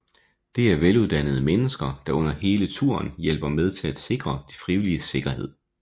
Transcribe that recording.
Det er veluddannede mennesker der under hele turen hjælper med til at sikre de frivilliges sikkerhed